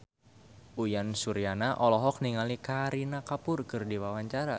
Uyan Suryana olohok ningali Kareena Kapoor keur diwawancara